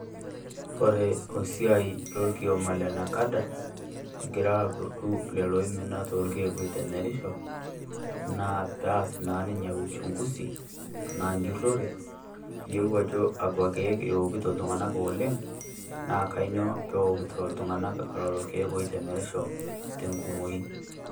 Kore osiai orkioma le NACADA egira akurdu lelo oimina too elkiek oitemerisho naa pee aas naa ninye uchungusi ana njurore pee eiyeloo ajo kakwa ilkiek ookito iltung'anak oleng naa kainyioo pee okitoo iltung'anak lelo ilkiek oitemerisho tenkumoi.